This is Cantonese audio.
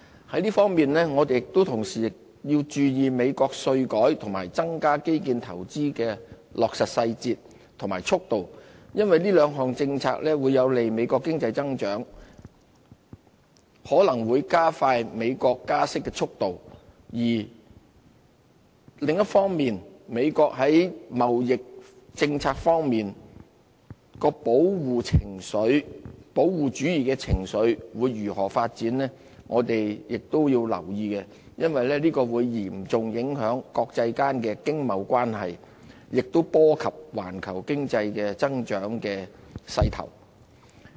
在這方面，我們同時亦要注意美國稅改和增加基建投資的落實細節和速度，因為這兩項政策會有利美國經濟增長，可能會加快美國加息的速度，另一方面，美國在貿易政策方面的保護主義情緒會如何發展，我們亦要留意，因為這會嚴重影響國際間經貿關係的影響，亦波及環球經濟增長的勢頭。